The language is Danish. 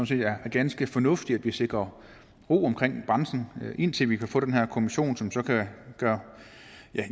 set er ganske fornuftigt at vi sikrer ro omkring branchen indtil vi kan få den her kommission som så kan